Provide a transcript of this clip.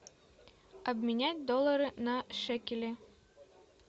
обменять доллары на шекели